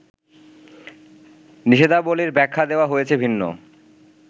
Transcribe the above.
নিষেধাবলির ব্যাখ্যা দেওয়া হয়েছে ভিন্ন